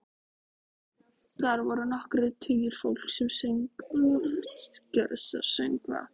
Þar voru nokkrir tugir fólks sem söng lofgjörðarsöngva.